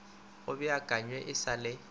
go beakanywe e sa le